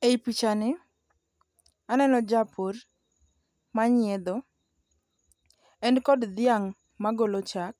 E i pichani aneno japur manyiedho. En kod dhiang' magolo chak,